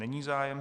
Není zájem.